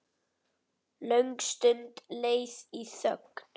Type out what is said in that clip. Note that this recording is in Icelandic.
Löng stund leið í þögn.